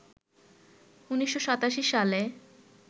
১৯৮৭ সালে